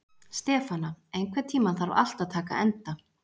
Stefana, einhvern tímann þarf allt að taka enda.